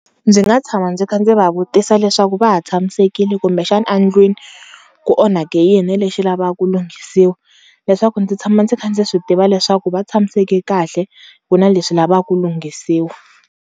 Ndzi nga tshama ndzi kha ndzi va vutisa leswaku va ha tshamisekile kumbexana endlwini ku onhake yini lexi lavaka ku lunghisiwa leswaku ndzi tshama ndzi kha ndzi swi tiva leswaku va tshamiseke kahle ku na leswi lavaka ku lunghisiwa.